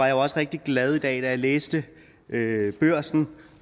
jeg også rigtig glad i dag da jeg læste børsen